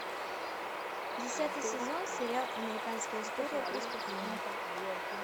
десятый сезон сериал американская история преступлений